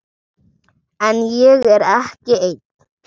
En ég er ekki einn.